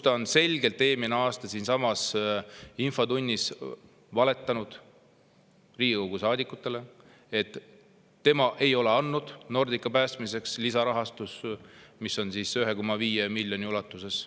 Ta on selgelt eelmisel aastal siinsamas infotunnis valetanud Riigikogu saadikutele, et tema ei ole andnud Nordica päästmiseks lisarahastust 1,5 miljoni euro ulatuses.